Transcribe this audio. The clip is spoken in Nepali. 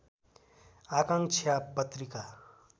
आकांक्षा पत्रिका